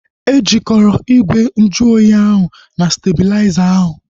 E jikọrọ ígwè nju oyi ahu na stebulaiza ahu